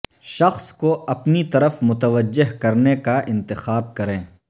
شخص کو اپنی طرف متوجہ کرنے کا انتخاب کریں